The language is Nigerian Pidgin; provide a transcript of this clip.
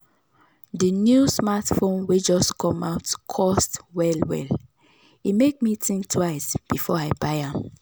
the new smartphone wey just come out cost well well e make me think twice before i buy am.